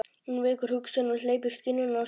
Hún vekur hugsunina og hleypir skynjuninni á skeið.